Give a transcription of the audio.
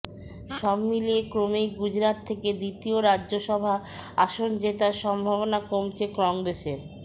সব মিলিয়ে ক্রমেই গুজরাত থেকে দ্বিতীয় রাজ্যসভা আসন যেতার সম্ভাবনা কমছে কংগ্রেসের